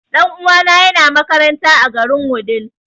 Ɗan uwana ya na makaranta a garin Wudil